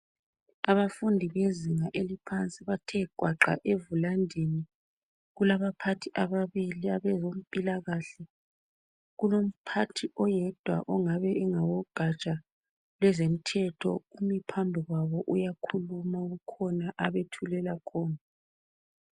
Abafundi bezinga eliphansi bathe gwaqa evulandini. Kulabaphathi ababili abezempilakahle. Kulomphathi oyedwa ongabe engowegatsha lezomthetho phambi kwabo. Uyakhuluma kukhona abethulela khona.